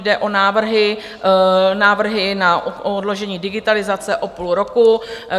Jde o návrhy na odložení digitalizace o půl roku.